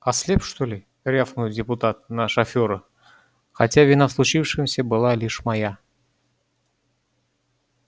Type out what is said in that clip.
ослеп что ли рявкнул депутат на шофёра хотя вина в случившемся была лишь моя